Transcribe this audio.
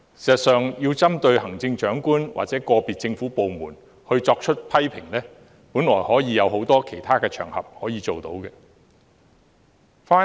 事實上，針對行政長官或個別政府部門作出批評，本來有很多其他場合可以做到。